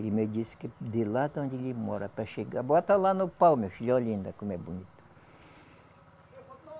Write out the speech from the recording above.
Ele me disse que de lá da onde ele mora para chegar. Bota lá no pau, meu filho, olha ainda como é bonito.